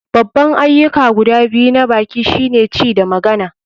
Babban ayyuka guda biyu na baki shine ci da magana.